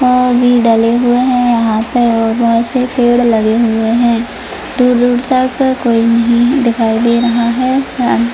अ भी डाले हुए है यहां पे और बहुत सारे पेड़ लगे हुए है दूर दूर तक कोई नही दिखाई दे रहा हैं।